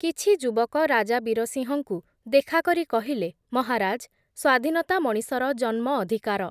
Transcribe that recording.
କିଛି ଯୁବକ ରାଜା ବୀରସିଂହଙ୍କୁ ଦେଖା କରି କହିଲେ, ‘ମହାରାଜ୍, ସ୍ଵାଧୀନତା ମଣିଷର ଜନ୍ମ ଅଧିକାର ।